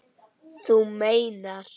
Þú meinar.